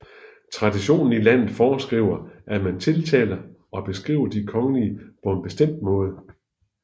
Traditionen i landet foreskriver at man tiltaler og beskriver de kongelige på en bestemt måde